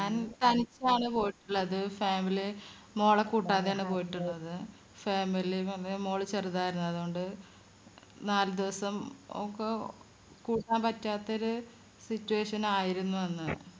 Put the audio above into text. ഞാൻ തനിച്ചാണ് പോയിട്ടുള്ളത് family മോളെ കൂട്ടാതെയാണ് പോയിട്ടുള്ളത് family അന്നേരം മോള് ചെറുതായിരുന്നു അതോണ്ട് നാലുദിവസം ഓൾക്ക് കൂട്ടാൻ പറ്റാത്ത situation ആയിരുന്നു അന്ന്